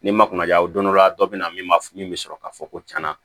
Ni ma kunna ja don dɔ la dɔ be na min ma min be sɔrɔ k'a fɔ ko cɛna